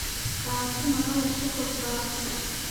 Kaasi ma qalab sukot baa?